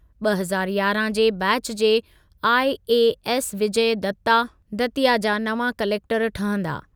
ॿ हज़ार यारहं जे बैच जे आईएएस विजय दत्ता, दतिया जा नवां क्लेकटरु ठहंदा।